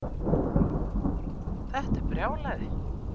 Þetta er brjálæði